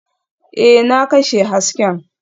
Ee, na kashe hasken